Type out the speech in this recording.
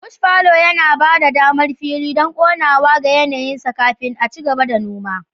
Bush fallow yana ba da damar fili don komawa ga yanayinsa kafin a ci gaba da noma.